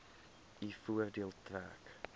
u voordeel trek